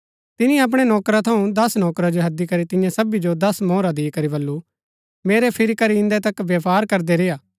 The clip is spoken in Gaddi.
तिनी अपणै नौकरा थऊँ दस नौकरा जो हैदी करी तियां सबी जो दस मोहरा दिकरी बल्लू मेरै फिरी करी इन्दै तक व्यपार करदै रेय्आ